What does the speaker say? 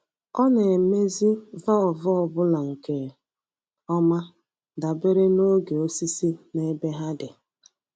Ọ na-emezi valvụ ọ bụla nke ọma dabere na oge osisi na ebe ha dị.